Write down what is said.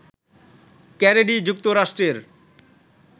Kennedy যুক্তরাষ্ট্রের